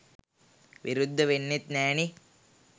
විරුද්ධ වෙන්නෙත් නෑනේ.